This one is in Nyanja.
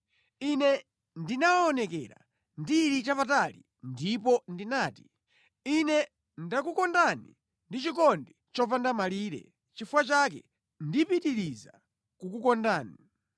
Ine ndinawaonekera ndili chapatali ndipo ndinati, “Ine ndakukondani ndi chikondi chopanda malire. Nʼchifukwa chake ndipitiriza kukukondani.